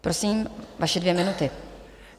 Prosím, vaše dvě minuty.